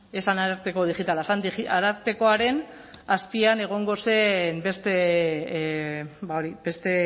ez zen ararteko digitala zen arartekoaren azpian egongo zen beste